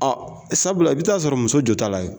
Ɔ sabula i bɛ t'a sɔrɔ muso jɔ ta la kɛ.